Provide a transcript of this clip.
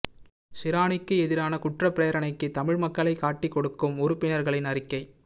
ஷிராணிக்கு எதிரான குற்றப்பிரேரணைக்கு தமிழ் மக்களை காட்டி கொடுக்கும் உறுப்பினர்களின் அறிக்கை